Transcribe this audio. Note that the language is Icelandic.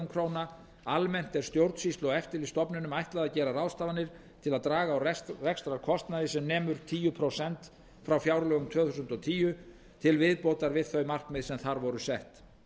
króna almennt er stjórnsýslu og eftirlitsstofnunum ætlað að gera ráðstafanir til að draga úr rekstrarkostnaði sem nemur um tíu prósent frá fjárlögum tvö þúsund og tíu til viðbótar við þau markmið sem þar voru sett